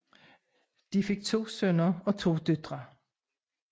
De fik to sønner og to døtre